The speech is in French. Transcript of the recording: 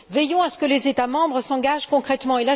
Veillons à ce que les États membres s'engagent concrètement.